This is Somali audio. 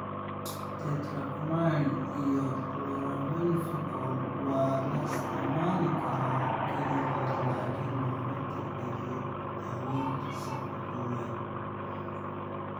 Tetracycline iyo Chloramphenicol waa la isticmaali karaa kaligood, laakiin looma tixgeliyo daawaynta safka koowaad.